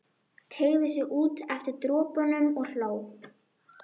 Teygði sig út eftir dropunum og hló.